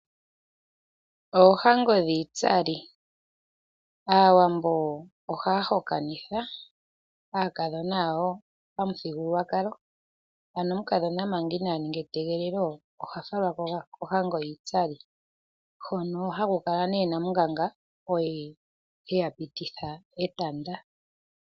Oohango dhiitsali, aawambo ohaya hokanitha aakadhona yawo pamuthigululwakalo, ano omukadhona manga inaa ninga etegelelo oha falwa kohango yiitsali hono haku kala nee namunganga oye heya pititha etanda.